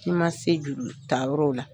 I ma se juru ta yɔrɔw la.